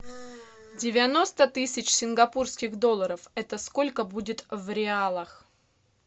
девяносто тысяч сингапурских долларов это сколько будет в реалах